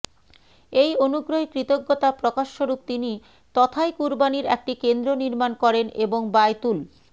এই অনুগ্রহের কৃতজ্ঞতা প্রকাশস্বরূপ তিনি তথায় কুরবানীর একটি কেন্দ্র নির্মাণ করেন এবং বায়তুল